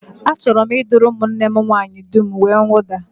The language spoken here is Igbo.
Achọrọ m ịdụrụ ụmụnne m nwaanyị dum uwemwụda